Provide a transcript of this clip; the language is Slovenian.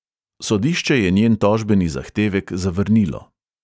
Sodišče je njen tožbeni zahtevek zavrnilo.